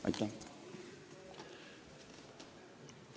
Aitäh!